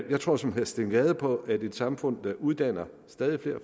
jeg tror som herre steen gade på at et samfund der uddanner stadig flere